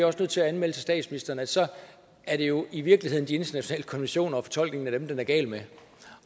også nødt til at anmelde til statsministeren at så er det jo i virkeligheden de internationale konventioner og fortolkningen af dem den er gal med